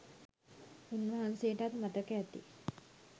උන්වහන්සේටත් මතක ඇති..